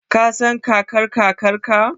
Ka san Kakar-Kakarka?